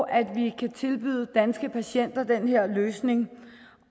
at vi kan tilbyde danske patienter den her løsning